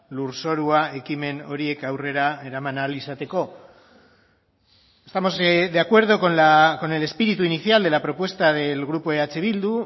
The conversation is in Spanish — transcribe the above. lurzorua ekimen horiek aurrera eraman ahal izateko estamos de acuerdo con el espíritu inicial de la propuesta del grupo eh bildu